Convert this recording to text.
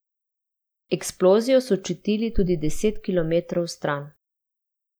Eksplozijo so čutili tudi deset kilometrov stran.